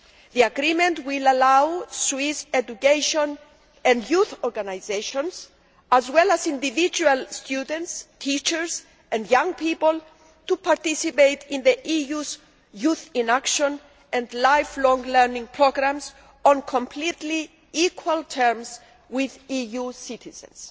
The agreement will allow Swiss education and youth organisations, as well as individual students, teachers and young people, to participate in the EU's Youth in Action and Lifelong Learning programmes on completely equal terms with EU citizens.